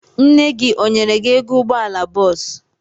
Nne gị ọ nyere gi ego ụgbọala bọọsụ?